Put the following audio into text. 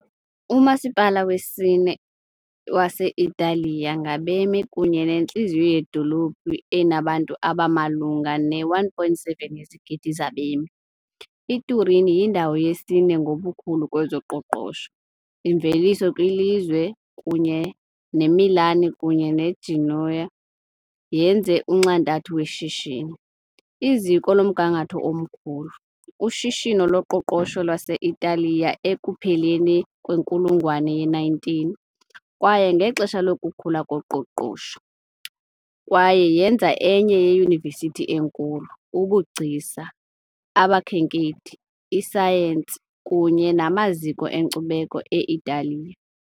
Umasipala wesine wase-Italiya ngabemi kunye nentliziyo yedolophu enabantu abamalunga ne-1.7 yezigidi zabemi, iTurin yindawo yesine ngobukhulu kwezoqoqosho - imveliso kwilizwe kunye neMilan kunye neGenoa yenze unxantathu weshishini, iziko lomgangatho omkhulu. Ushishino loqoqosho lwase-Italiya ekupheleni kwenkulungwane ye-19, kwaye ngexesha lokukhula koqoqosho, kwaye yenza enye yeyunivesithi enkulu, ubugcisa, abakhenkethi, isayensi kunye namaziko enkcubeko e-Italiya.